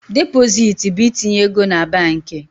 Depositi bụ itinye ego na banki.